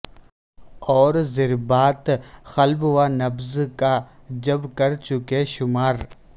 اور ضربات قلب و نبض کا جب کر چکے شمار